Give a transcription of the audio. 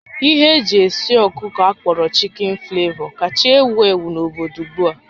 Ihe eji esi ọkụkọ akpọrọ Chicken flavor kacha ewu ewu n'obodo ugbu a